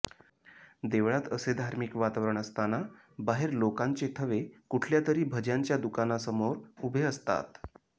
देवळात असे धार्मिक वातावरण असताना बाहेर लोकांचे थवे कुठल्यातरी भज्यांच्या दुकानासमोर उभे असतात